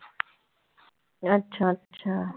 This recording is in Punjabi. ਅੱਛਾ ਅੱਛਾ।